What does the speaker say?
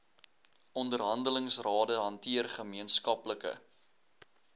onderhandelingsrade hanteer gemeenskaplike